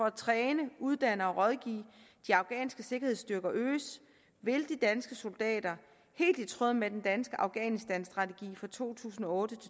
at træne uddanne og rådgive de afghanske sikkerhedsstyrker øges vil de danske soldater helt i tråd med den danske afghanistanstrategi for to tusind og